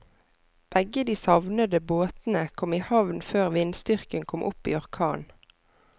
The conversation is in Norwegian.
Begge de savnede båtene kom i havn før vindstyrken kom opp i orkan.